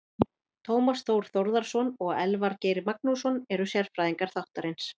Tómas Þór Þórðarson og Elvar Geir Magnússon eru sérfræðingar þáttarins.